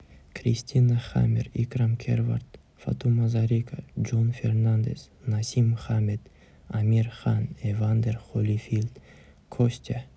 кристина хаммер икрам керват фатума зарика джон фернандес насим хамед амир хан эвандер холифилд костя